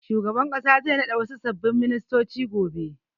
Shugaban ƙasa zai naɗa wasu sababbin ministoci gobe.